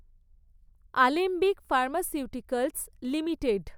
Alembic pharmaceuticals limited